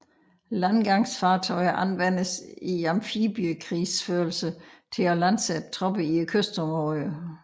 Landgangsfartøjer anvendes i amfibiekrigsførelse til at landsætte tropper i kystområder